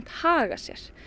haga sér